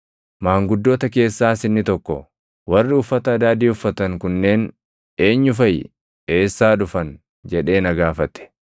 Maanguddoota keessaas inni tokko, “Warri uffata adaadii uffatan kunneen eenyu faʼi? Eessaa dhufan?” jedhee na gaafate.